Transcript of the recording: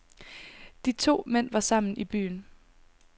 De to mænd var sammen i byen.